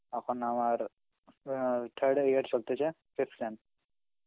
এখন আমার অ্যাঁ third year চলতেছে fifth sem.